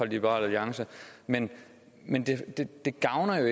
liberal alliance men men det gavner jo